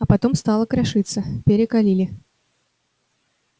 а потом стала крошиться перекалили